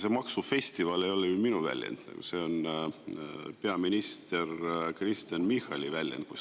See "maksufestival" ei ole ju minu väljend, see on peaminister Kristen Michali väljend.